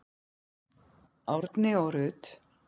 Árni og Rut.